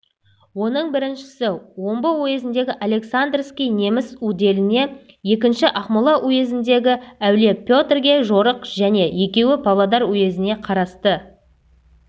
оның біріншісі омбы уезіндегі александрский неміс уделіне екіншісі ақмола уезіндегі әулие петрге жорық және екеуі павлодар уезіне қарасты